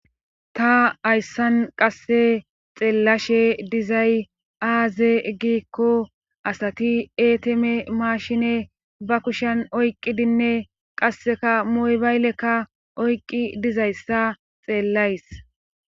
ta ayssan qasse xeellashe dizay aaze giikko asati eeteme maashine ba kushen oyqqidinne qasseka muybaylekka oyqqi dizayssa xeellays